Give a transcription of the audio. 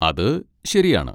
അത് ശരിയാണ്.